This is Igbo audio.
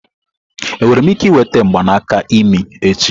Enwere m ike ịnweta mgbanaka imi echi?